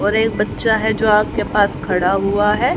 और एक बच्चा है जो आग के पास खड़ा हुआ है।